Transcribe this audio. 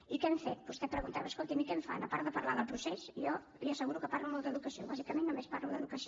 i què hem fet vostè preguntava escolti’m i què fan a part de parlar del procés jo li asseguro que parlo molt d’educació bàsicament només parlo d’educació